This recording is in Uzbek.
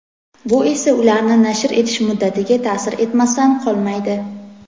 Bu esa ularni nashr etish muddatiga ta’sir etmasdan qolmaydi.